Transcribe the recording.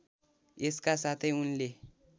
यसका साथै उनले